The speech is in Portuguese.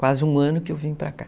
Quase um ano que eu vim para cá.